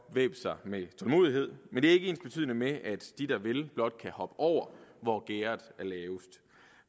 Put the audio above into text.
væbne sig med tålmodighed men det er ikke ensbetydende med at de der vil blot kan hoppe over hvor gærdet er lavest